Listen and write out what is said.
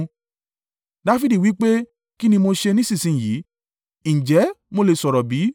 Dafidi wí pé, “Kí ni mo ṣe nísinsin yìí? Ǹjẹ́ mo lè sọ̀rọ̀ bí?”